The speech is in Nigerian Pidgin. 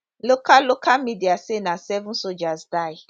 local local media say na seven soldiers die